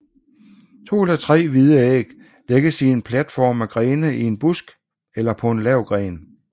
To eller tre hvide æg lægges i en platform af grene i en busk eller på en lav gren